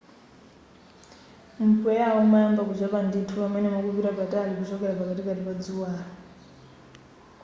mpweyawo umayamba kuchepa ndithu pamene mukupita patali kuchokera pakatikati pa dzuwalo